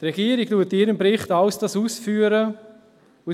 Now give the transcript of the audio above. Die Regierung führt dies alles in diesem Bericht aus.